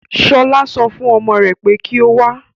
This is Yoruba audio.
Ṣọlá so fún ọmọ rè pé kí o wá.